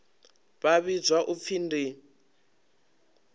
vha vhidzwa u pfi ndi